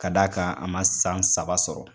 Ka d' a kan a ma san saba sɔrɔ.